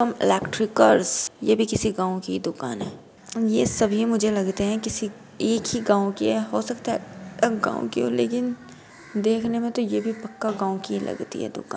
Shivam electricals यह भी किसी गांव की ही दुकान है। यह सभी मुझे लगते हैं किसी एक ही गाव की है हो सकता है अलग गांव की हो लेकिन देखने मे तो यह भी पक्का गांव की ही लगती है दुकान --